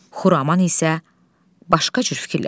Xuraman isə başqa cür fikirləşir.